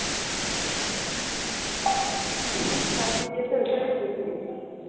short video তে ওইসবই বেশি দেখি।